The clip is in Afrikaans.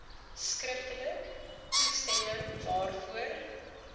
skriftelik toestemming daarvoor